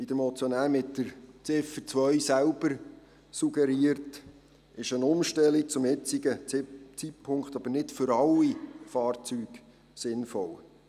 Wie der Motionär mit Ziffer 2 selber suggeriert, ist eine Umstellung zum aktuellen Zeitpunkt jedoch nicht für alle Fahrzeuge sinnvoll.